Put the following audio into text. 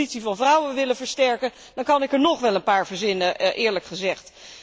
Als we de positie van vrouwen willen versterken, dan kan ik nog wel een paar dingen verzinnen, eerlijk gezegd.